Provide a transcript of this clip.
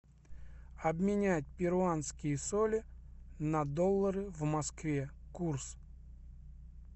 обменять перуанские соли на доллары в москве курс